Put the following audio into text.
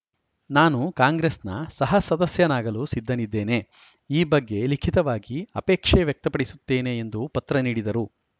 ನಾನು ಕಾಂಗ್ರೆಸ್‌ನ ಸಹ ಸದಸ್ಯನಾಗಲು ಸಿದ್ಧನಿದ್ದೇನೆ ಈ ಬಗ್ಗೆ ಲಿಖಿತವಾಗಿ ಆಪೇಕ್ಷೆ ವ್ಯಕ್ತಪಡಿಸುತ್ತೇನೆ ಎಂದು ಪತ್ರ ನೀಡಿದರು